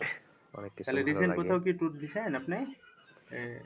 তালে recent কোথাও কি tour দিছেন আপনি?